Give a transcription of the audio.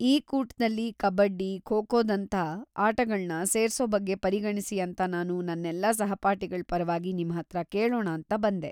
ಈ ಕೂಟದಲ್ಲಿ ಕಬಡ್ಡಿ, ಖೋ-ಖೋದಂಥ ಆಟಗಳ್ನ ಸೇರ್ಸೋ ಬಗ್ಗೆ ಪರಿಗಣ್ಸಿ ಅಂತ ನಾನು ನನ್ನೆಲ್ಲಾ ಸಹಪಾಠಿಗಳ್‌ ಪರವಾಗಿ ನಿಮ್ಹತ್ರ ಕೇಳೋಣಾಂತ ಬಂದೆ.